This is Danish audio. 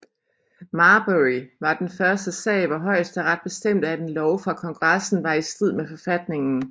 Marbury var den første sag hvor højesteret bestemte at en lov fra Kongressen var i strid med forfatningen